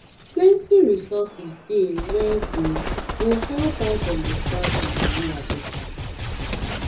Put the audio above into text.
plenty resources dey wey go go help us understand gonorrhea better